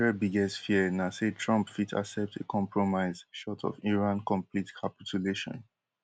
israel biggest fear na say trump fit accept a compromise short of iran complete capitulation